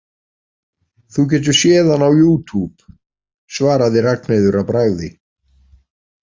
Þú getur séð hann á youtube, svaraði Ragnheiður að bragði.